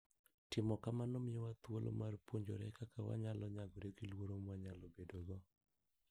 Timo kamano miyowa thuolo mar puonjore kaka wanyalo nyagore gi luoro mwanyalo bedogo.